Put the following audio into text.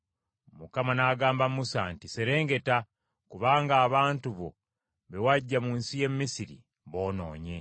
Mukama n’agamba Musa nti, “Serengeta, kubanga abantu bo be waggya mu nsi ey’e Misiri boonoonye;